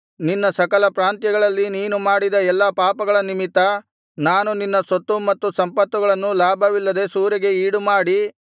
ನಿನ್ನ ಸಕಲ ಪ್ರಾಂತ್ಯಗಳಲ್ಲಿ ನೀನು ಮಾಡಿದ ಎಲ್ಲಾ ಪಾಪಗಳ ನಿಮಿತ್ತ ನಾನು ನಿನ್ನ ಸೊತ್ತು ಮತ್ತು ಸಂಪತ್ತುಗಳನ್ನು ಲಾಭವಿಲ್ಲದೆ ಸೂರೆಗೆ ಈಡುಮಾಡಿ